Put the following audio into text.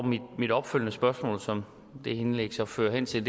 mit opfølgende spørgsmål som det indlæg så fører hen til